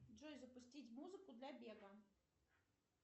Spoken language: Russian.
джой запустить музыку для бега